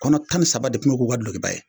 Kɔnɔ tan ni saba de kun y'u k'u ka dulokiba ye